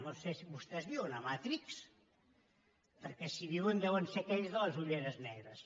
no ho sé vostès viuen a matrix perquè si hi viuen deuen ser aquells de les ulleres negres